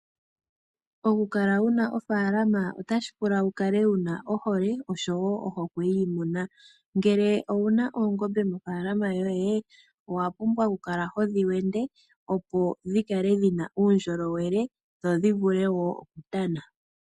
Oku kala wuna ofalama otashi pula opo wu kale wuna ohole oshowo ohokwe yiimuna, ngele owuna oongombe mofalama yoye owa pumbwa oku kala hodhi wende opo dhikale dhina uundjolowele dho dhi vule wo oku indjipala.